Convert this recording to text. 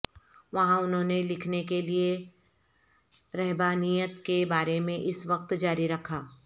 وہاں انہوں نے لکھنے کے لئے رہبانیت کے بارے میں اس وقت جاری رکھا